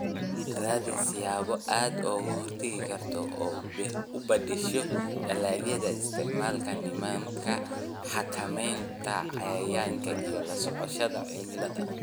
Raadi siyaabo aad uga hortagto, u beddesho dalagyada, isticmaal nidaamka xakamaynta cayayaanka iyo la socoshada cimilada